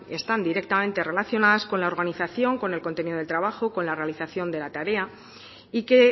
están directamente relacionadas con la organización con el contenido del trabajo con la realización de la tarea y que